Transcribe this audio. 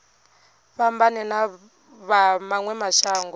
fhambane na vha mawe mashango